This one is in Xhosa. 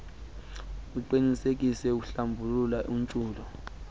iqinisekise uhlambuluko ukuntshula